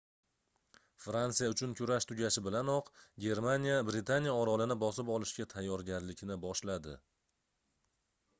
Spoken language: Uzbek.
fransiya uchun kurash tugashi bilanoq germaniya britaniya orolini bosib olishga tayyorgarlikni boshladi